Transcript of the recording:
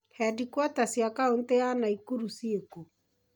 Hediquota caĩ kaunti ya Nakuru ciĩ kũ?